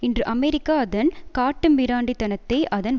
இன்று அமெரிக்கா அதன் காட்டுமிராண்டித்தனத்தை அதன்